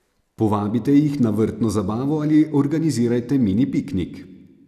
Povabite jih na vrtno zabavo ali organizirajte mini piknik.